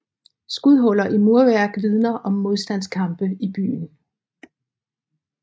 Skudhuller i murværk vidner om modstandskampe i byen